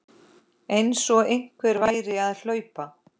Einsog einhver væri að hlaupa